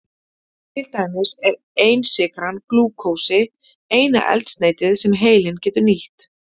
Til dæmis er einsykran glúkósi eina eldsneytið sem heilinn getur nýtt.